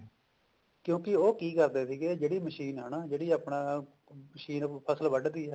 ਕਿਉਂਕਿ ਉਹ ਕੀ ਕਰਦੇ ਸੀਗੇ ਜਿਹੜੀ ਮਸ਼ੀਨ ਹਨਾ ਜਿਹੜੀ ਆਪਣਾ ਮਸ਼ੀਨ ਫਸਲ ਵੱਡ ਦੀ ਹੀ